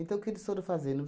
Então, o que eles foram fazendo?